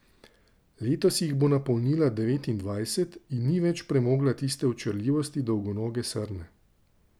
Letos jih bo napolnila devetindvajset in ni več premogla tiste očarljivosti dolgonoge srne.